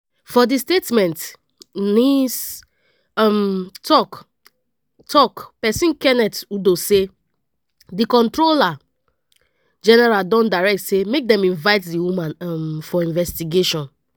for di statement nis um tok-tok pesin kenneth udo say di comptroller general don direct say make dem invite di woman um for investigation.